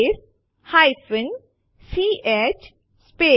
લખો કેટ સાંપે1 અને Enter કળ દબાવો